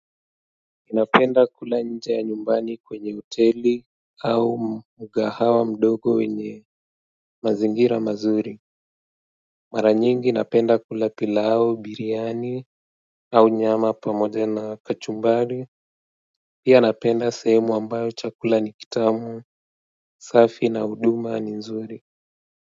Ninapenda kula nje ya nyumbani kwenye hoteli au mgahawa mdogo wenye mazingira mazuri mara nyingi napenda kula pilau, biriani au nyama pamoja na kachumbari pia napenda sehemu ambayo chakula ni kitamu, safi na huduma ni nzuri.